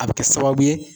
A bɛ kɛ sababu ye